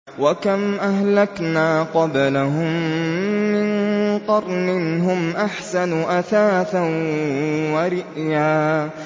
وَكَمْ أَهْلَكْنَا قَبْلَهُم مِّن قَرْنٍ هُمْ أَحْسَنُ أَثَاثًا وَرِئْيًا